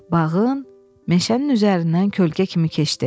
Bağın, meşənin üzərindən kölgə kimi keçdi.